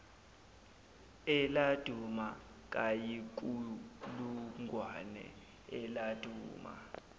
eladuma kayinkulungwane eladuma